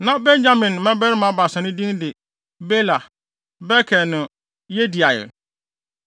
Na Benyamin mmabarima baasa no din de: Bela. Beker ne Yediael.